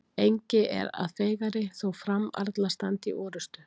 Engi er að feigari þó framarla standi í orrustu.